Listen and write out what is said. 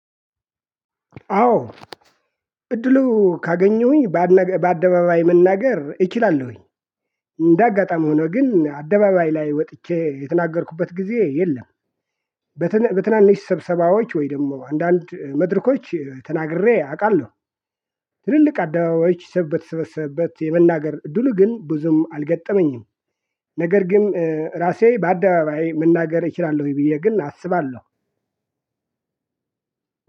አዎ እድሉ ካገኘሁኝ በአደባባይ መናገር እችላለሁኝ እንደ አጋጣሚ ሆኖ ግን አደባባይ ላይ ወጥቼ የተናገርኩበት ጊዜ የለም። በትናንሽ ስብሰባዎች ወይ ደግሞ አንዳንድ መድረኮች ተናግሬ አውቃለሁ። ትልልቅ አደባባዮች ሰበተ ሰበሰበት የመናገር ድል ግን ብዙም አልገጠመኝም። ነገር ግን ራሴ በአደባባይ መናገር እችላለሁኝ ወይ ብዬ ግን አስባለሁ።